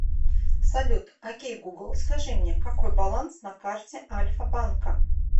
салют окей гугл скажи мне какой баланс на карте альфа банка